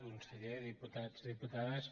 conseller diputats i diputades